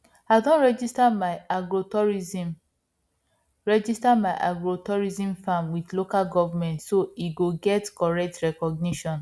i don register my agrotourism register my agrotourism farm with local government so e go get correct recognition